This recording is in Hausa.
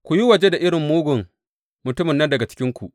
Ku yi waje da irin mugun mutumin nan daga cikinku.